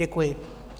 Děkuji.